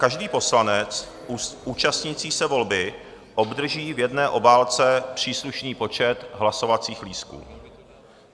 Každý poslanec účastnící se volby obdrží v jedné obálce příslušný počet hlasovacích lístků.